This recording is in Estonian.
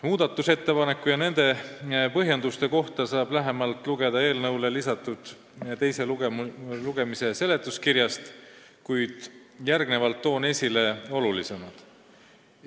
Muudatusettepanekute ja nende põhjenduste kohta saab lähemalt lugeda eelnõule lisatud teise lugemise seletuskirjast, praegu toon neist esile kõige olulisemad.